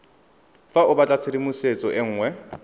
fa o batlatshedimosetso e nngwe